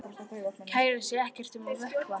Kærir sig ekkert um að vökna.